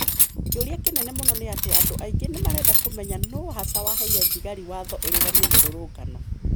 Kĩũria kĩnene mũno nĩ atĩ andũ aingĩ nĩmarenda kũmenya nũũ hasa waheire thigari watho irũgamie mĩrũrũngano